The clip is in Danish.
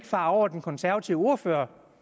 sig over den konservative ordfører